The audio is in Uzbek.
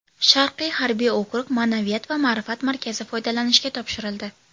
Sharqiy harbiy okrug Ma’naviyat va ma’rifat markazi foydalanishga topshirildi.